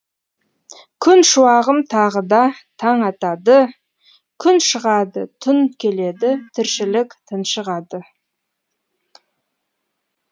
күн шуағымтағы да таң атады күн шығады түн келеді тіршілік тыншығады